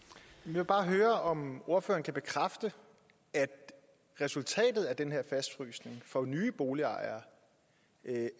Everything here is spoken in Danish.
vil bare høre om ordføreren kan bekræfte at resultatet af den her fastfrysning for nye boligejere